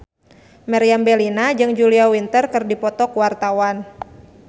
Meriam Bellina jeung Julia Winter keur dipoto ku wartawan